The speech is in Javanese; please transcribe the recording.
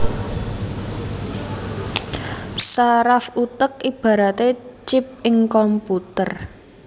Saraf utek ibaraté chip ing komputer